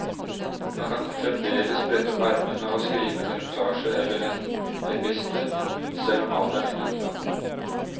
Han kan fremdeles brette opp ermene og skrive en reportasje eller en epistel, selv om alderen innhenter ham.